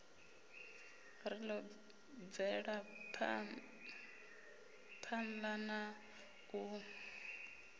ri ḓo bvelaphanḓa na u